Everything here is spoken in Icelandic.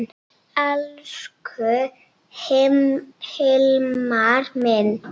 Elsku Hilmar minn.